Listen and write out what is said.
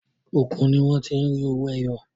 Òkun ní wọ́n ti rí owó ẹyọ.